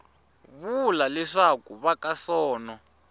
vula leswaku va ka sono